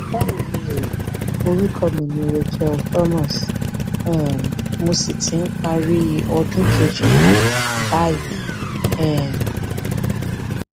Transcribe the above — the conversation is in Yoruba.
bawo ni o orúkọ mi ni rachel thomas um mo sì ti ń parí ọdún kejìlá báyìí um